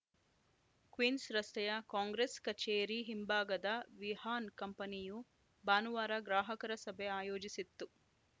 Queens ರಸ್ತೆಯ ಕಾಂಗ್ರೆಸ್‌ ಕಚೇರಿ ಹಿಂಭಾಗದ ವಿಹಾನ್‌ ಕಂಪನಿಭಾನುವಾರ ಗ್ರಾಹಕರ ಸಭೆ ಆಯೋಜಿಸಿತ್ತು